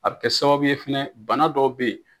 A bɛ kɛ sababu ye fɛnɛ bana dɔw bɛ yen.